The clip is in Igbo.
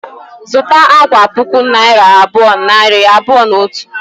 Zụta akwa puku naira abụọ, nari abụọ na otu